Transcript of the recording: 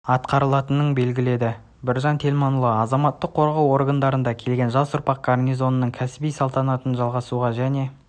атқарылатының белгіледі біржан телманұлы азаматтық қорғау органдарына келген жас ұрпақ гарнизонның кәсіби салтын жалғамтыруға және